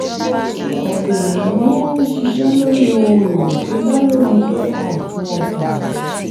ọ̀pọ̀ ènìyàn ń ń ṣiṣẹ́ lórí ohun èlò tó dá lórí ai fún ọjà.